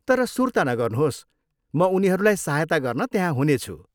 तर सुर्ता नगर्नुहोस्, म उनीहरूलाई सहायता गर्न त्यहाँ हुनेछु।